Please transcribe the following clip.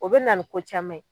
O bɛ na ni ko caman ye.